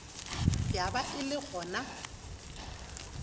ya ba e le gona